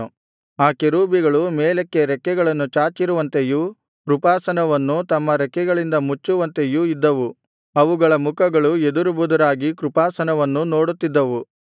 ಆ ಕೆರೂಬಿಗಳು ಮೇಲಕ್ಕೆ ರೆಕ್ಕೆಗಳನ್ನು ಚಾಚಿರುವಂತೆಯೂ ಕೃಪಾಸನವನ್ನು ತಮ್ಮ ರೆಕ್ಕೆಗಳಿಂದ ಮುಚ್ಚುವಂತೆಯೂ ಇದ್ದವು ಅವುಗಳ ಮುಖಗಳು ಎದುರು ಬದುರಾಗಿ ಕೃಪಾಸನವನ್ನು ನೋಡುತ್ತಿದ್ದವು